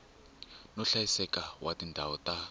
no hlayiseka wa tindhawu ta